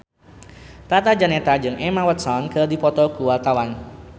Tata Janeta jeung Emma Watson keur dipoto ku wartawan